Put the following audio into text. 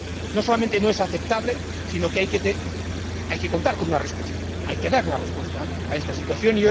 No solamente no es aceptable, sino que hay contar con una respuesta, hay que dar una respuesta a esta situación.